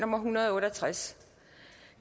en hundrede og otte og tres